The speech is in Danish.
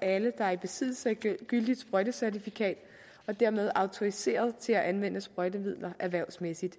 alle der er i besiddelse af gyldigt sprøjtecertifikat og dermed er autoriseret til at anvende sprøjtemidler erhvervsmæssigt